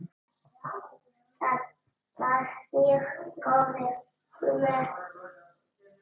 Það var mjög góður tími.